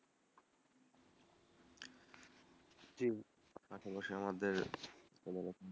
জি, আমাদের কোনোরকম,